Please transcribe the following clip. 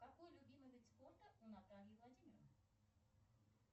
какой любимый вид спорта у натальи владимировны